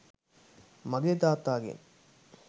මගේ තාත්තාගෙන්.